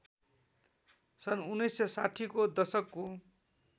सन् १९६० को दशकको